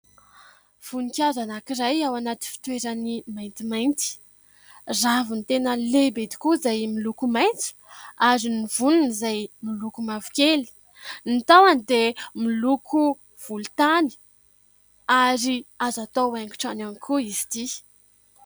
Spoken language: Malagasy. Voninkazo anankiray ao anaty fitoerany maintimainty, raviny tena lehibe tokoa izay miloko maintso ary ny voniny izay miloko mavokely, ny tahony dia miloko volontany ary azo atao haingo trano ihany koa izy ity.